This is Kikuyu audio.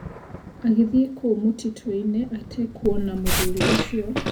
Agĩthiĩ kũu mũtitũinĩ atekuona mũthuri ũcio.